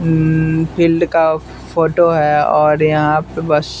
अमम्म field का photo है और यहाँ पे बस --